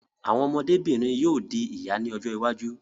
Àwọn ọmọdé-bìnrin yóò di ìyá ní ọjọ́ iwájú.